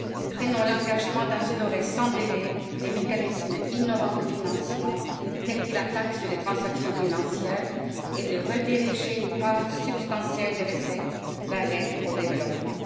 Prenons l'engagement d'instaurer, sans délai, des mécanismes innovants de financement, tels que la taxe sur les transactions financières, et de rediriger une part substantielle des recettes vers l'aide au développement.